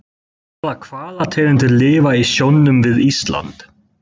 Hvaða hvalategundir lifa í sjónum við Ísland?